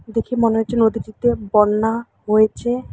দেখে মনে হচ্ছে নদীটিতে বন্যা হয়েছে।